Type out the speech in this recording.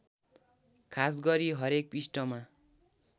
खासगरि हरेक पृष्ठमा